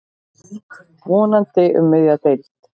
Vonandi um miðja deild.